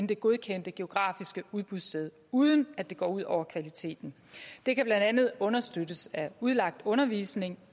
det godkendte geografiske udbudssted uden at det går ud over kvaliteten det kan blandt andet understøttes af udlagt undervisning